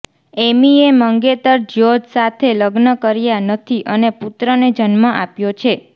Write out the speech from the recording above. એમીએ મંગેતર જ્યોર્જ સાથે લગ્ન કર્યા નથી અને પુત્રને જન્મ આપ્યો છે